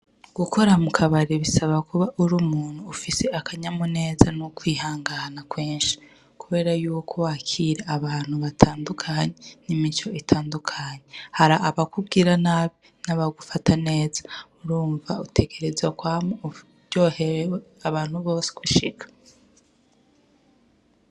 Gukora mukabare bisaba kuba uri umuntu afise akanyamuneza n' ukwihangana kwinshi kubera yuko wakira abantu batandukanye n' imico itandukanye hari abakubwira nabi n' abagufata neza urumva utegerezwa kwama uryohewe abantu bose gushika.